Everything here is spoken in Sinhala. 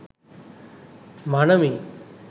මනමේ,